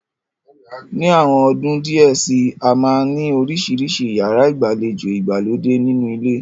Ni àwọn ọdún díẹ̀ síi, a máa ni oríṣiríṣi yàrá ìgbàlejò ìgbàlódé nínú ilé.